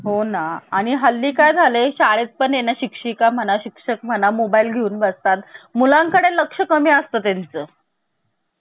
भारतीय संघराज्याला विविध तज्ञानी काही विविध मते मंडळी आहे त्यांची भारतीय संघराज्याबद्दल. त्यांचा अभ्यास करायचा आहे. तर के. सी. व्हियर यांनी भारतीय संघराज्याला.